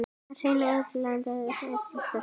Hrein erlend staða áfram sterk.